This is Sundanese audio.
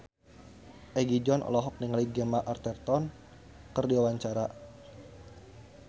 Egi John olohok ningali Gemma Arterton keur diwawancara